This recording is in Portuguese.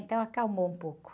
Então acalmou um pouco.